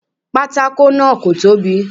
Pátákó náà kò tóbi.